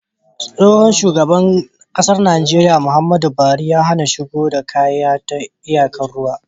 tsohon shugaban ƙasar Nigeria Muhammadu buhari ya HAna shigowa da kaya ta iyakar ruwa